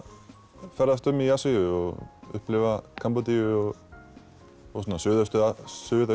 ferðast um í Asíu og upplifa Kambódíu og